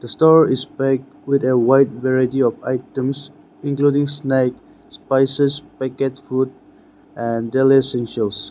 The store is big with a wide variety of items including snack spices packet food and daily essentials.